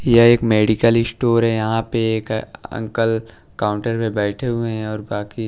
यह एक medical store है यहाँ पे एक अंकल काउंटर में बैठे हुए है और बाकी--